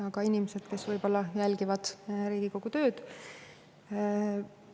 Ja ka muud inimesed, kes võib-olla jälgivad Riigikogu tööd!